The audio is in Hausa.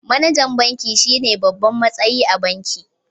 MAnajan banki shine babban matsayi a banki